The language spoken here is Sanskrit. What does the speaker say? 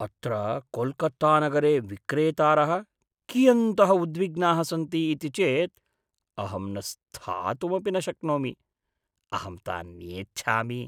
अत्र कोल्कत्तानगरे विक्रेतारः कियन्तः उद्विग्नाः सन्ति इति चेत् अहं न स्थातुमपि न शक्नोमि। अहं तान् नेच्छामि।